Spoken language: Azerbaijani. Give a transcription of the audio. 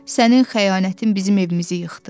Sənin xəyanətin bizim evimizi yıxdı.